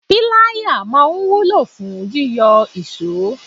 Pilaya máa ń wúlò fún yíyọ iso.